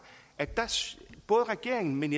at både regeringen men